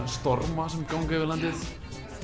storma sem ganga yfir landið